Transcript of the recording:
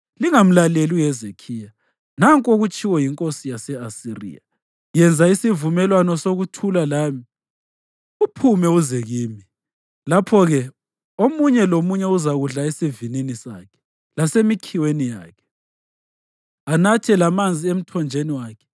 Lingamlaleli uHezekhiya. Nanku okutshiwo yinkosi yase-Asiriya: Yenza isivumelwano sokuthula lami, uphume uze kimi. Lapho-ke omunye lomunye uzakudla esivinini sakhe lasemikhiweni yakhe, anathe lamanzi emthonjeni wakhe,